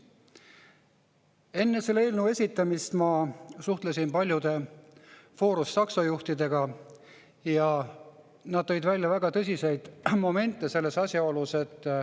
Enne selle eelnõu esitamist ma suhtlesin paljude Foruse taksojuhtidega ja nad tõid välja väga tõsiseid momente.